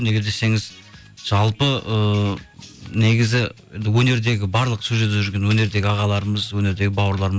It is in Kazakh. неге десеңіз жалпы ыыы негізі енді өнердегі барлық сол жерде жүрген өнердегі ағаларымыз өнердегі бауырларым